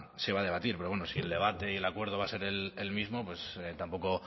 se va a debatir pero bueno si el debate y el acuerdo va a ser el mismo pues tampoco